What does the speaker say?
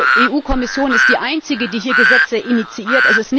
Denn die EU Kommission ist die Einzige, die hier Gesetze initiiert.